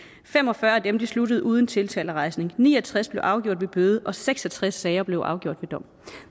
fem og fyrre af dem sluttede uden tiltalerejsning ni og tres blev afgjort ved bøde og seks og tres sager blev afgjort ved dom